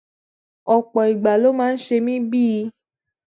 òpò ìgbà ló máa ń ṣe mí bíi